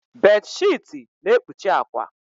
Bedsheeti na-ekpuchi akwa.